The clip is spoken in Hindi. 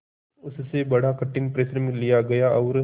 उससे बड़ा कठिन परिश्रम लिया गया और